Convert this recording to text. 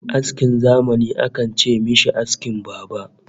Askin zamani akan ce mishi askin baba